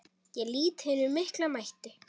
Ég lýt hinum mikla mætti.